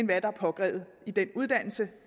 hvad der er påkrævet i den uddannelse